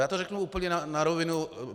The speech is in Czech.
Já to řeknu úplně na rovinu.